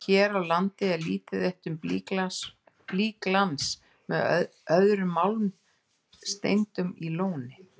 Hér á landi er lítið eitt um blýglans með öðrum málmsteindum í Lóni.